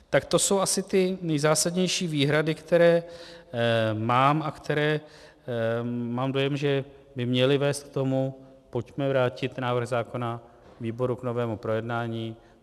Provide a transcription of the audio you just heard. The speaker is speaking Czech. Tak to jsou asi ty nejzásadnější výhrady, které mám a které, mám dojem, že by měly vést k tomu - pojďme vrátit návrh zákona výboru k novému projednání.